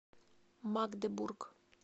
магдебург